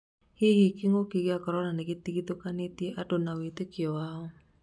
hihi kĩng'ũki gĩa Korona nĩgĩtigithũkanĩtie andũ na wĩtĩkĩo wao?